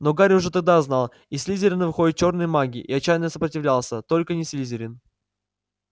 но гарри уже тогда знал из слизерина выходят чёрные маги и отчаянно сопротивлялся только не слизерин